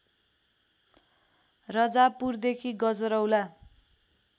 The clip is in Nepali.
रजाबपुरदेखि गजरौला